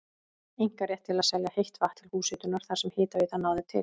einkarétt til að selja heitt vatn til húshitunar þar sem hitaveitan náði til.